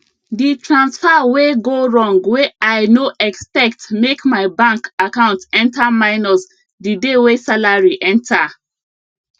the transfer wey go wrong wey i no expectmake my bank account enter minus the day wey salary enter